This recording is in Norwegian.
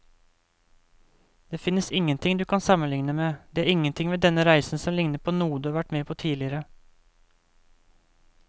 Det finnes ingenting du kan sammenligne med, det er ingenting ved denne reisen som ligner på noe du har vært med på tidligere.